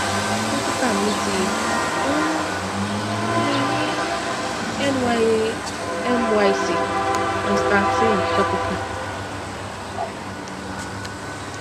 dókítà mi ti um fún mi ní nya myc nystatin topical